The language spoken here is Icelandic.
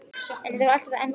En- það var alltaf þetta en.